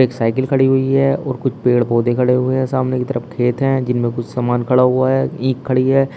एक साइकिल खड़ी हुई है और कुछ पेड़ पौधे खड़े हुए हैं सामने की तरफ खेत हैं जिनमें कुछ सामान खड़ा हुआ है ईख खड़ी है।